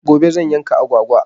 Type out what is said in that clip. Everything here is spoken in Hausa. Gobe zan yanka agwagwa.